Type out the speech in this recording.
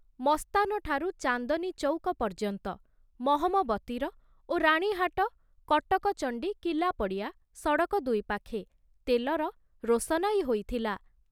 ମସ୍ତାନଠାରୁ ଚାନ୍ଦନୀଚୌକ ପର୍ଯ୍ୟନ୍ତ ମହମବତୀର ଓ ରାଣୀହାଟ, କଟକ ଚଣ୍ଡୀ କିଲ୍ଲାପଡ଼ିଆ ସଡ଼କ ଦୁଇ ପାଖେ ତେଲର ରୋଶନାଇ ହୋଇଥିଲା।